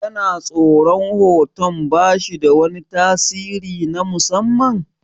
Kana tsoran hoton bashi da wani tasiri na musamman?